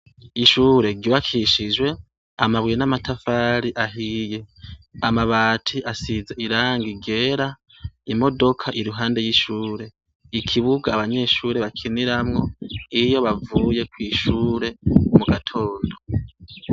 Ishure ryubakishijwe amabuye n' amatafari ahiye amabati asize irangi ryera imodoka iruhande y' ishure ikibuga abanyeshure bakiniramwo iyo bavuye kwishure mugatondo.